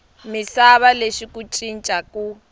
misava lexi ku cinca ku